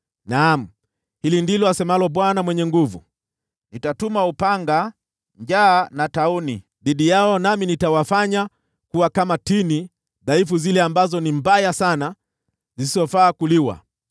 Naam, hili ndilo asemalo Bwana Mwenye Nguvu Zote: “Nitatuma upanga, njaa na tauni dhidi yao, nami nitawafanya kuwa kama tini dhaifu zile ambazo ni mbovu sana zisizofaa kuliwa.